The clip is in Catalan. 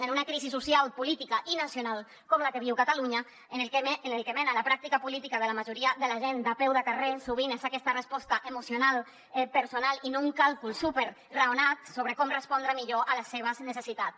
en una crisi social política i nacional com la que viu catalunya el que mena la pràctica política de la majoria de la gent de peu de carrer sovint és aquesta resposta emocional personal i no un càlcul superraonat sobre com respondre millor a les seves necessitats